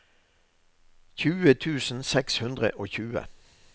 tjue tusen seks hundre og tjue